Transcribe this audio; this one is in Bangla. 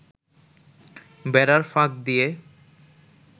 বেড়ার ফাঁক দিয়ে